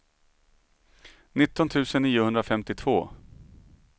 nitton tusen niohundrafemtiotvå